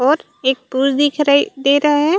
और एक पूल दिख रहा दे रहा हैं।